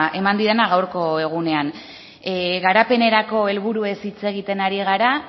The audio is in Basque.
eman didana gaurko egunean garapenerako helburuez hitz egiten ari gara